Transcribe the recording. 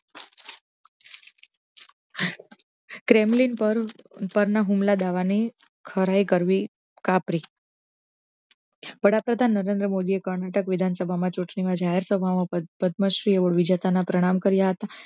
Kremlin પર ના હુમલા દાવા ને ખરાઈ કરવી કાપરી વડા પ્રધાન નરેન્દ્ર મોદી એ કરણાટક વિધાનસભા મા ચુટણી નો જાહેર સભા મા પદ્મ શ્રી ના પ્રણામ કર્યા હ્તા